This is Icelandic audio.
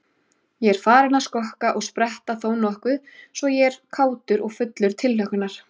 Ég er farinn að skokka og spretta þónokkuð svo ég er kátur og fullur tilhlökkunar.